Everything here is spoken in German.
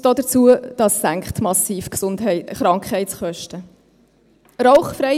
Dazu kommt: Es senkt die Krankheitskosten massiv.